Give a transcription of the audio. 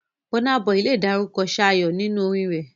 Burna Boy lè dárúkọ 'ṣáyó' nínú orin rẹ̀.